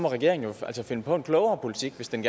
regeringen jo finde på en klogere politik hvis den